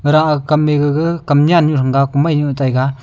gaha kamMai gaga kamnya nu hunga kumainu taiga.